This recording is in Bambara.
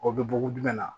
O bɛ bugun jumɛn na